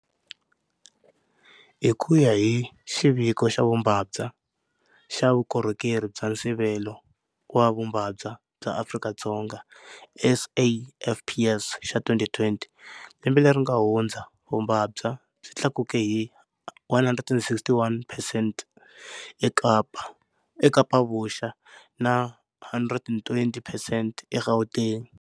Hi ku ya hi xiviko xa vumbabva xa Vukorhokeri bya Nsivelo wa Vumbabva bya Afrika-Dzonga, SAFPS, xa 2020, lembe leri nga hundza vumbabva byi tlakuke hi 161percent eKapa-Vuxa na 120 percent eGauteng.